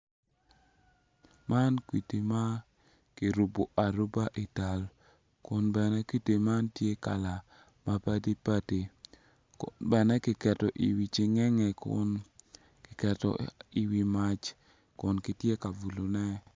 Man kwidi ma kirubo aruba i tal kun bene kwdi man tye kala ma padi padi bene kiketo i wi cingenge kiketo i wi mac kun kitye ka bulone.